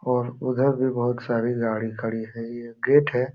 और उधर भी बहुत सारी गाड़ी खड़ी है। ये गेट है।